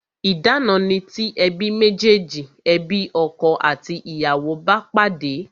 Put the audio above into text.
Idana ni ti ebi mejeji, ebi ọkọ àti ìyàwó bá pàdé